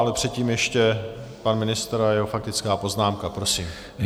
Ale předtím ještě pan ministr a jeho faktická poznámka, prosím.